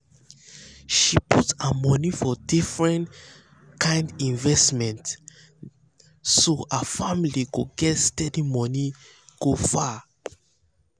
she put her money for different kind investment different kind investment so her family go get steady money go far